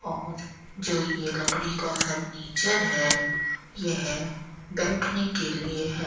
और जो ये लकड़ी का फर्नीचर है यह बैठने के लिए है।